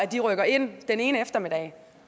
de rykker ind den ene eftermiddag